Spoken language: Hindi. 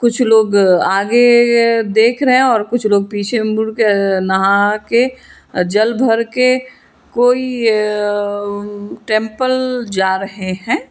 कुछ लोग आ आगे देख रहे हैं और कुछ लोग पीछे मुड़ के नहा के जल भर के कोई एम टेंपल जा रहे हैं।